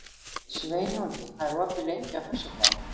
Sveinungi, hvað er opið lengi á föstudaginn?